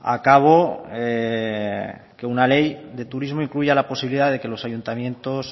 a cabo que una ley de turismo incluya la posibilidad de que los ayuntamientos